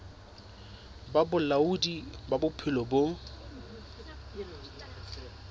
ba bolaodi ba bophelo bo